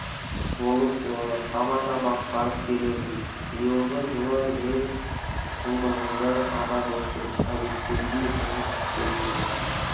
болып оны тамаша басқарып келесіз биылғы жылы мен жылдығымды атап өттім әдеттегідей жұмыс істеп жүрмін